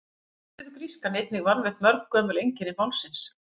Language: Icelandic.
Samt hefur grískan einnig varðveitt mörg gömul einkenni málsins.